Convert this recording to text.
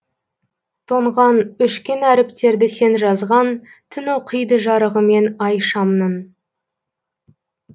тоңған өшкен әріптерді сен жазған түн оқиды жарығымен ай шамның